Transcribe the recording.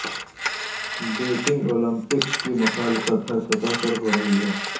Beijing Olympics کی مخالفپ ہر سطح پر ہورہی ہے